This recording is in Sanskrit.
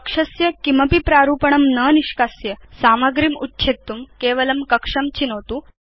कक्षस्य किमपि प्रारूपणं न निष्कास्य सामग्रीम् उच्छेत्तुं केवलं कक्षं चिनोतु